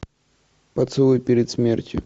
поцелуй перед смертью